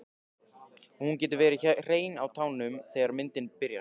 Og hún getur verið hrein á tánum þegar myndin byrjar.